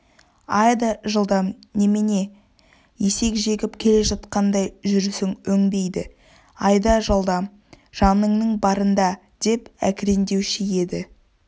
айда жылдам немене есек жегіп келе жатқандай жүрісің өнбейді айда жылдам жаныңның барында деп әкіреңдеуші еді